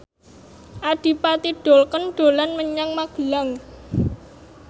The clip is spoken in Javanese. Adipati Dolken dolan menyang Magelang